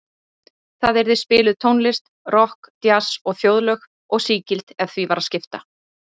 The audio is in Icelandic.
Þar yrði spiluð tónlist, rokk, djass og þjóðlög, og sígild ef því var að skipta.